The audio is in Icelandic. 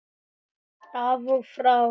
Af og frá.